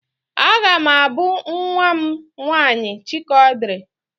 Aga m abụ nwa m nwaanyị Chikaọdịrị